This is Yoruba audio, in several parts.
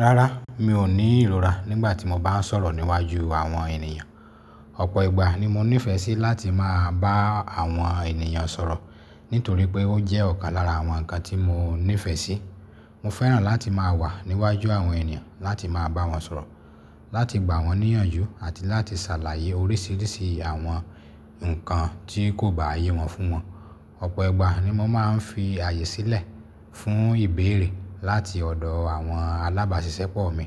Rárá, mi ò ní ìrora nígbà tí mo bá ń sọ̀rọ̀ níwájú àwọn ènìyàn. Ọ̀pọ̀ ìgbà ni mo nífẹ̀ẹ́ sí láti máa bá àwọn ènìyàn sọ̀rọ̀ nítorí pé ó jẹ́ ọ̀kan lára àwọn nǹkan tí mo nífẹ̀ẹ́ sí. Mo fẹ́ràn láti máa wà níwájú àwọn ènìyàn láti máa bá wọn sọ̀rọ̀, láti gbà wọ́n níyànjú àti láti ṣàlàyé oríṣìíríṣìí àwọn nǹkan tí kò bá yé wọn fún wọn. Ọ̀pọ̀ ìgbà ni mo máa ń fi àyè sílẹ̀ fún ìbéèrè láti ọ̀dọ̀ àwọn alábàṣiṣẹ́pọ̀ mi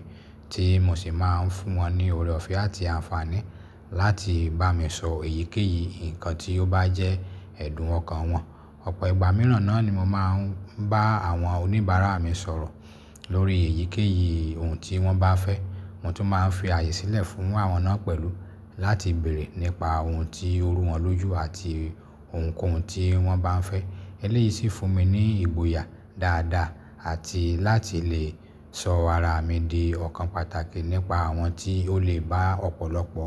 tí mo sì máa ń fún wọn ní ọ̀rẹ́ ọ̀fẹ́ àti àǹfààní láti bá mi sọ èyíkéyìí nǹkan tí ó bá jẹ́ ẹ̀dùn ọkan wọn. Ọ̀pọ̀ ìgbà mìíràn náà ni mo máa ń bá àwọn oníbàárà mi sọ̀rọ̀ lórí èyíkéyìí ohun tí wọ́n bá fẹ́. Mo tún máa ń fi àyè sílẹ̀ fún àwọn náà pẹ̀lú láti béèrè nípa ohun tí ooru wọn lójú àti ohunkóhun tí wọ́n bá ń fẹ́. Eléyìí sì fún mi ní ìgboyà dáadáa àti láti lè sọ ara mi di ọ̀kan pàtàkì nípa àwọn tí ó lè bá ọ̀pọ̀lọpọ̀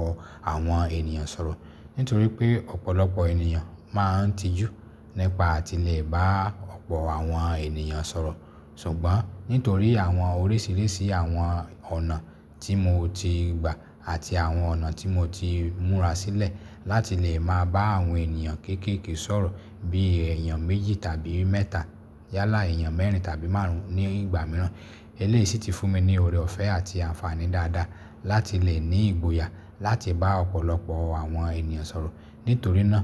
àwọn ènìyàn sọ̀rọ̀. Nítorí pé ọ̀pọ̀lọpọ̀ ènìyàn máa ń tijú nípa àtile bá ọ̀pọ̀ àwọn ènìyàn sọ̀rọ̀. Ṣùgbọ́n nítorí àwọn oríṣìíríṣìí àwọn ọ̀nà tí mo ti gba àti àwọn ọ̀nà tí mo ti múra sílẹ̀ láti lè máa bá àwọn ènìyàn kéékèèké sọ̀rọ̀ bí i èèyàn méjì tàbí mẹ́ta yálà èèyàn mẹ́rin tàbí márùn ún ní ìgbà mìíràn. Eléyìí sì ti fún mi ní ọ̀rẹ́ ọ̀fẹ́ àti àǹfààní dáadáa láti lè ní ìgboyà láti bá ọ̀pọ̀lọpọ̀ àwọn ènìyàn sọ̀rọ̀. Nítorí náà,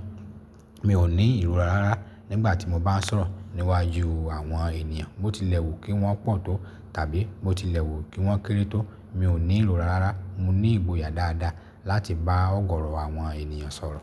mi ò ní ìrora rárá nígbà tí mo bá ń sọ̀rọ̀ níwájú àwọn ènìyàn. Mo tilẹ̀ wù kí wọ́n pọ̀ tó tàbí mo tilẹ̀ wù kí wọ́n kéré tó, mi ò ní ìrora rárá. Mo ní ìgboyà dáadáa láti bá ọ̀gọ̀ọ̀rọ̀ àwọn ènìyàn sọ̀rọ̀.